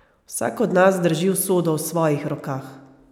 Vsak od nas drži usodo v svojih rokah!